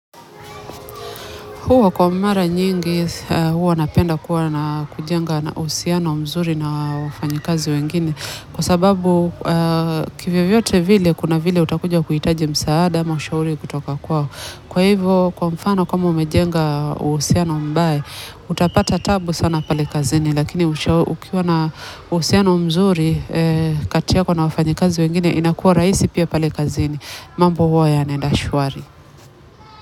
Huwa kwa mara nyingi, huwa napenda kuwa na kujenga uhusiano mzuri na wafanyikazi wengine. Kwa sababu kivyovyote vile, kuna vile utakuja kuhitaji msaada ama ushauri kutoka kwao kwa hivyo, kwa mfano kama umejenga uhusiano mbaya, utapata taabu sana pale kazini. Lakini ukiwa na uhusiano mzuri kati yako na wafanyikazi wengine, inakuwa rahisi pia pale kazini. Mambo huwa yanaenda shwari.